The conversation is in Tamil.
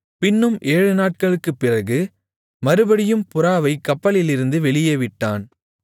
பின்னும் ஏழு நாட்களுக்குப் பிறகு மறுபடியும் புறாவைக் கப்பலிலிருந்து வெளியே விட்டான்